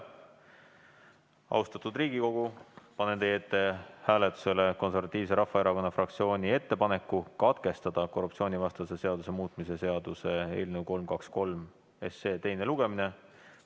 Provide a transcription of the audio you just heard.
Austatud Riigikogu, panen teie ette hääletusele Konservatiivse Rahvaerakonna fraktsiooni ettepaneku katkestada korruptsioonivastase seaduse muutmise seaduse eelnõu 323 teine lugemine.